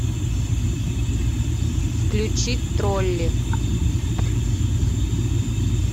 включи тролли